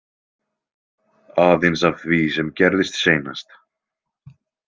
Aðeins af því sem gerðist seinast.